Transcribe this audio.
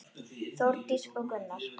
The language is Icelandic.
Þórdís og Gunnar.